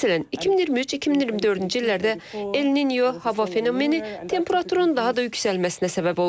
Məsələn, 2023-2024-cü illərdə El-Ninyo hava fenomeni temperaturun daha da yüksəlməsinə səbəb olub.